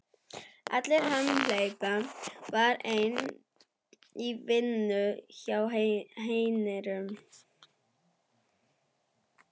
Alli hamhleypa var enn í vinnu hjá hernum.